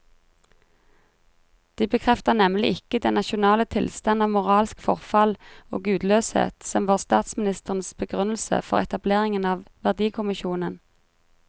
De bekrefter nemlig ikke den nasjonale tilstand av moralsk forfall og gudløshet som var statsministerens begrunnelse for etableringen av verdikommisjonen.